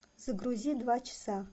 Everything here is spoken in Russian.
загрузи два часа